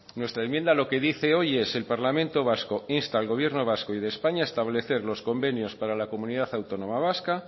nuestra enmienda lo que dice hoy es el parlamento vasco insta al gobierno vasco y de españa establecer los convenios para la comunidad autónoma vasca